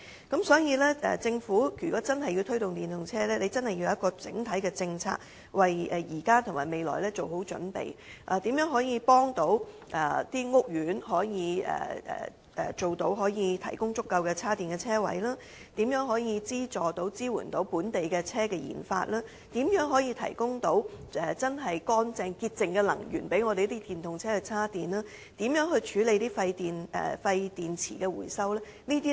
因此，如果政府真的想推動電動車發展，必須要有完整政策，為現時及未來做好準備，例如如何協助屋苑提供足夠充電車位，如何資助及支援本地車輛研發工作，如何提供潔淨能力予電動車充電，以及如何處理廢舊電池回收等。